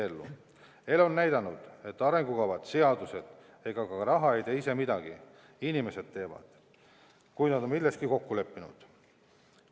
Elu on näidanud, et arengukavad, seadused ega ka raha ei tee ise midagi –inimesed teevad, kui nad on milleski kokku leppinud.